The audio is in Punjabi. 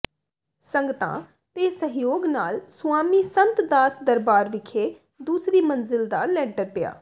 ਸੰਗਤਾਂ ਤੇ ਸਹਿਯੋਗ ਨਾਲ ਸੁਆਮੀ ਸੰਤ ਦਾਸ ਦਰਬਾਰ ਵਿਖੇ ਦੂਸਰੀ ਮੰਜ਼ਿਲ ਦਾ ਲੈਂਟਰ ਪਿਆ